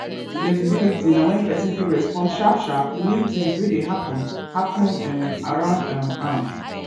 fexibility na wen persin fit respond sharp sharp to new things wey dey happen happen um around um am